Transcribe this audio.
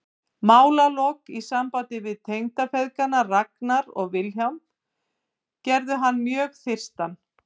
Málalok í sambandi við tengdafeðgana Ragnar og Vilhjálm gerðu hann mjög þyrstan.